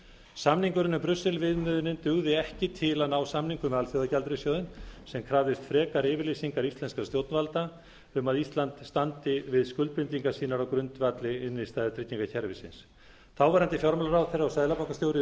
samningurinn um brussel viðmiðin dugði ekki til að ná samningum við alþjóðagjaldeyrissjóðinn sem krafðist frekari yfirlýsingar íslenskra stjórnvalda um að ísland standi við skuldbindingar sínar á grundvelli innstæðutryggingakerfisins þáverandi fjármálaráðherra og seðlabankastjóri